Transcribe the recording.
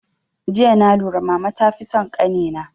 Jiya na lura mama ta fi son kani na